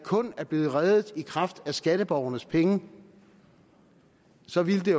kun er blevet reddet i kraft af skatteborgernes penge så ville det